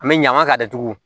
An bɛ ɲama ka datugu